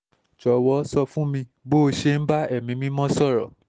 jọ̀wọ́ sọ fún mi bó o ṣe ń bá ẹ̀mí mímọ́ sọ̀rọ̀